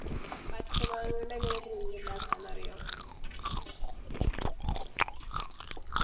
പച്ച മാങ്ങാ കൊണ്ടെങ്ങനെയാ Drink ഇണ്ടാക്കാന്ന് അറിയോ